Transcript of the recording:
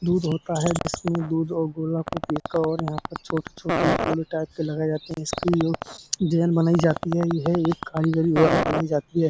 दूध होता है जिसमें दूध और गोला को और यहाँ पर छोटे-छोटे गोले टाइप के लगाये जाते हैं। इसकी जो डिज़ाइन बनाई जाती है यह एक कारीगरी द्वारा बनाई जाती है।